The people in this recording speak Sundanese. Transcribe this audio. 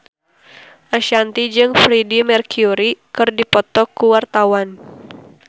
Ashanti jeung Freedie Mercury keur dipoto ku wartawan